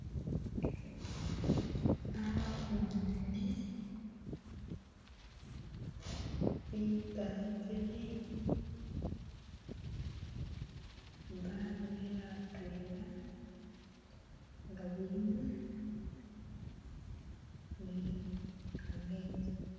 Naboone bipangiri babirere atwela ngabilimu ni kametsi.